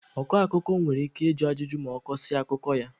Ọ kọ akụkọ nwere ike ịjụ ajụjụ ma ọ kọsịa akụkọ ya.